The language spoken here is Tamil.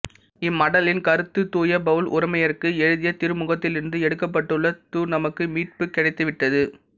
இம்மடலின் கருத்து தூய பவுல் உரோமையருக்கு எழுதிய திருமுகத்திலிருந்து எடுக்கப்பட்டுள்ளதுநமக்கு மீட்புக் கிடைத்துவிட்டது